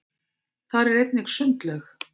þar er einnig sundlaug